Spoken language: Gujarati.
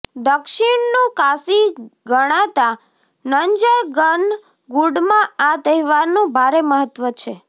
દક્ષિણનું કાશી ગણાતા નંન્જનગુડમાં આ તહેવારનું ભારે મહત્વ છે